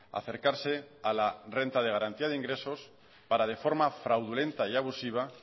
acercarse a la renta de garantía de ingresos para de forma fraudulenta y abusiva